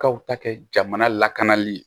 K'aw ta kɛ jamana lakanali ye